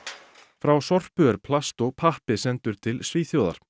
frá Sorpu er plast og pappi sendur til Svíþjóðar